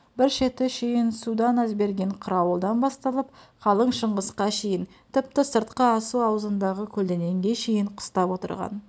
бір шеті шүйгінсудан әзберген қарауылдан басталып қалың шыңғысқа шейін тіпті сыртқы асу аузындағы көлденеңге шейін қыстап отырған